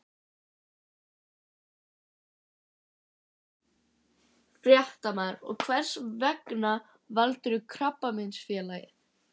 Fréttamaður: Og hvers vegna valdirðu Krabbameinsfélagið?